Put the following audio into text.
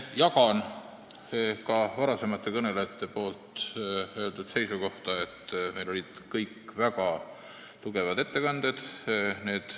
Jagan varasemate kõnelejate öeldud seisukohta, et kõik ettekanded olid väga tugevad.